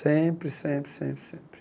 Sempre, sempre, sempre, sempre.